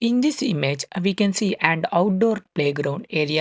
In this image we can see and outdoor playground area.